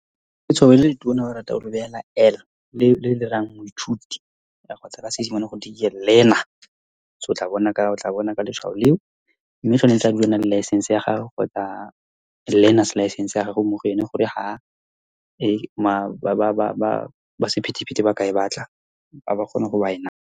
Letshwao le letona ba rata go L le le rayang moithuti kgotsa ka Seesimane, gote ke Learner. So, o tla bona ka letshwao leo. Mme, tshwanetse a dule ana le license ya gagwe kgotsa learner's license ya gagwe mo go ene, gore ha ba sephetephete ba ka e batla, ba kgone go ba e naya.